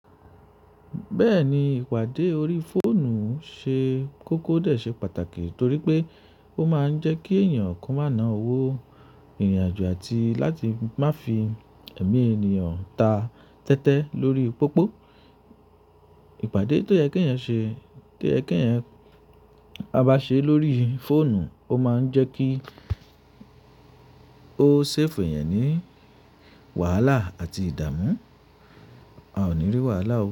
Bẹ́ẹ̀ ni, ìpàdé ori fóònù ṣe kókó dè ṣe pàtàkì torí pé ó máa ń jẹ́ kí ẹ̀yàn kọ má ná owó ìrìn àjò àti láti má fi ẹ̀mí ènìyàn ta tẹ́tẹ́ lórí pópó. Ìpàdé tó yẹ kí èyàn se, tó yẹ kí èyàn a bá ṣe lórí fóònù ó máa ń jẹ́ kí ó ṣẹ́fù yẹn ní wàhálà àti ìdààmú, a ò ní rí wàhálà ọwọ́